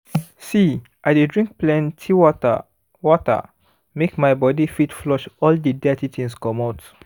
see i dey drink plenty water water make my body fit flush all the dirty things comot